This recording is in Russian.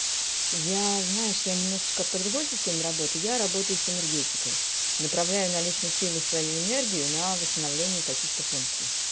я знаешь я немножечко по другой системе работаю я работаю с энергетикой направляю наличные силы свою энергию на восстановление каких-то функций